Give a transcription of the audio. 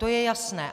To je jasné.